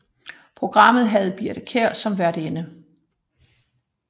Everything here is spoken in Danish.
Programmet havde Birthe Kjær som værtinde